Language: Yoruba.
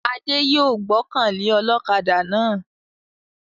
Adé yòó gbọ́kàn lé ọlọ́kaadà náà